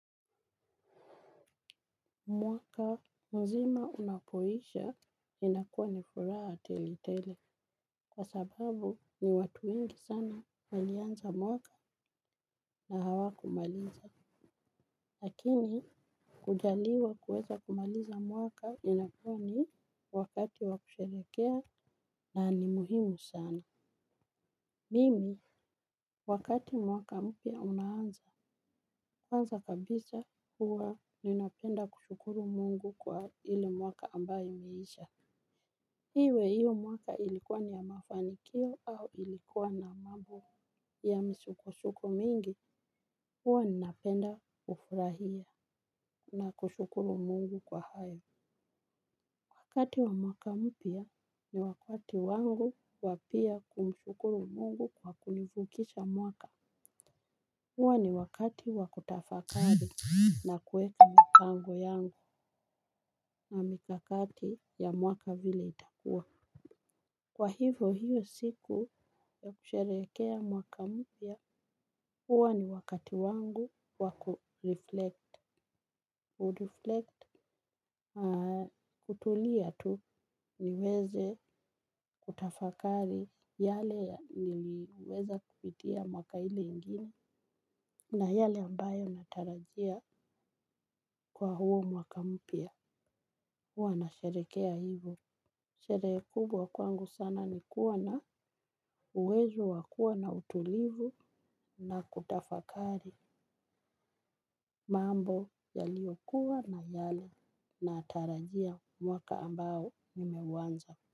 Mwaka mzima unapoisha inakuwa nifuraha tele tele kwa sababu ni watu wengi sana walianza mwaka na hawakumaliza. Lakini kujaliwa kuweza kumaliza mwaka inakuwai wakati wakusherekea na ni muhimu sana. Mimi wakati mwaka mpya unaanza kabisa huwa ninapenda kushukuru Mungu kwa ile mwaka ambayo imeisha. Iwe hiyo mwaka ilikuwa ni ya mafanikio au ilikuwa na mambo ya msukusuko mingi, huwa ninapenda kufurahia na kushukuru Mungu kwa hayo. Wakati wa mwaka mpya ni wakati wangu wa pia kumshukuru Mungu kwa kunivukisha mwaka. Huwa ni wakati wakutafakari na kuweka mipango yangu na mikakati ya mwaka vile itakua. Kwa hivyo hiyo siku ya kusherehekea mwaka mpya huwa ni wakati wangu wa kureflect kutulia tu niweze kutafakari yale niliweza kupitia mwaka ile ingine na yale ambayo natarajia kwa huo mwaka mpya huwa na sherehekea hivyo sherehe kubwa kwangu sana ni kuwa na uwezo wa kuwa na utulivu na kutafakari mambo yaliyokuwa na yale natarajia mwaka ambao nimeuanza.